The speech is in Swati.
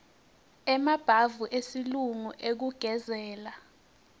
emabhavu esilungu ekugezela